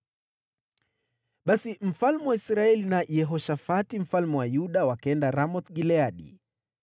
Basi mfalme wa Israeli na Yehoshafati mfalme wa Yuda wakaenda Ramoth-Gileadi.